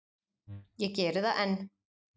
Ég geri það enn.